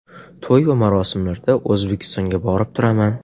To‘y va marosimlarda O‘zbekistonga borib turaman.